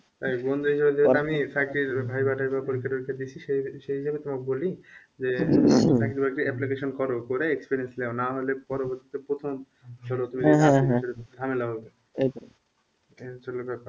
আমি চাকরির viva টাইবা পরীক্ষা টোরীক্ষা দিছি সেই সেই হিসাবে তোমাকে বলি যে চাকরি বাকরি application করো করে experience নাও নাহলে পরবর্তীতিতে প্রথম ঝামেলা হবে এ হচ্ছে হলো ব্যাপার